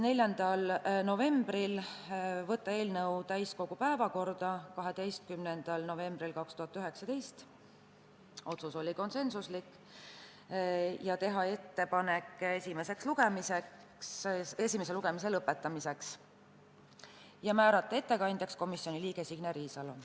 4. novembril otsustati saata eelnõu täiskogu päevakorda 12. novembriks 2019 , teha ettepanek esimene lugemine lõpetada ja määrata ettekandjaks komisjoni liige Signe Riisalo.